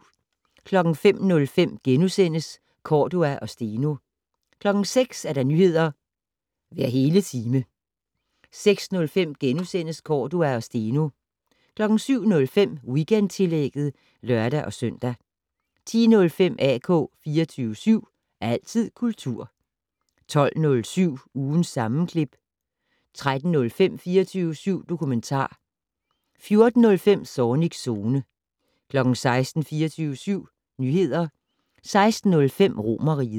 05:05: Cordua og Steno * 06:00: Nyheder hver hele time 06:05: Cordua og Steno * 07:05: Weekendtillægget (lør-søn) 10:05: AK 24syv. Altid kultur 12:07: Ugens sammenklip 13:05: 24syv dokumentar 14:05: Zornigs Zone 16:00: 24syv Nyheder 16:05: Romerriget